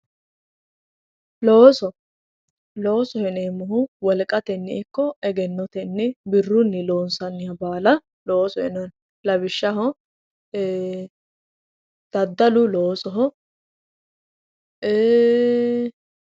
Looso, loosoho yineemmohu wolqatenni ikko egennotenni birrunni loonsanniha baalla loosoho yinnanni lawishshaho e"e daddalu loosoho ii'i.